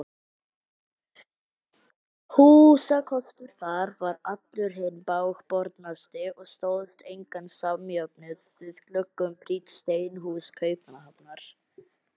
Húsakostur þar var allur hinn bágbornasti og stóðst engan samjöfnuð við gluggum prýdd steinhús Kaupmannahafnar.